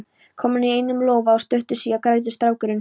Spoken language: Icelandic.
komin í einum lófa og stuttu síðar grætur strákurinn.